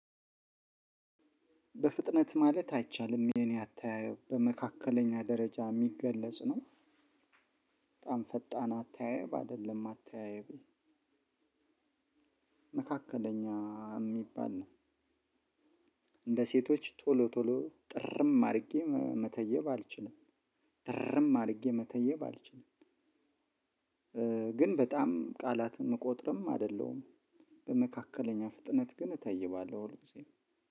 በፍጥነት ማለት አይቻልም የኔ አተያዩብ በመካከለኛ ደረጃ የሚገለጽ ነው። በጣም ፈጣን አተያየብ አይደለም አተያየቤ መካከለኛ የሚባል ነው። እንደ ሴቶች ቶሎ ቶሎ ጥርም አርጌ መ መተየብ አልችልም እርም አድርጌ መተየብ አልችልም። ግን በጣም ቃላትን ምቆጥርም አደለሁም። በመካከለኛ ፍጥነት ግን እተይባለሁ ሁልጊዜም